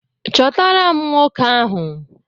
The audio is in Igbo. Chọtara m nwoke ahụ!